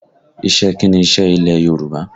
Iṣẹ́ kí ni iṣẹ́ ilẹ̀ Yorùbá?